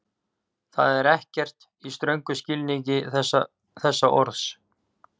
Það er ekkert, í ströngum skilningi þess orðs.